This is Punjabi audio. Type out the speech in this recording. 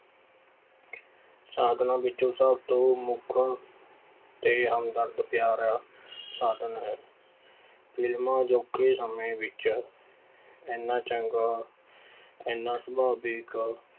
ਸਾਧਨਾਂ ਵਿੱਚੋਂ ਸਭ ਤੋਂ ਮੁੱਖ ਤੇ ਹਮਦਰਦ ਪਿਆਰਾ ਸਾਧਨ ਹੈ ਫਿਲਮਾਂ ਅਜੋਕੇ ਸਮੇਂ ਵਿੱਚ ਇੰਨਾ ਚੰਗਾ, ਇੰਨਾ ਸੁਭਾਵਿਕ